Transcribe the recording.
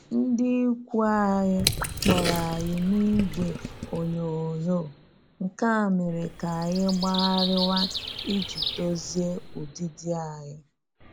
Ndị ikwu anyị kpọrọ anyị n'igwe onyoghonyoo, nke a a mere ka anyị gbagharịwa iji dozie ụdịdị anyị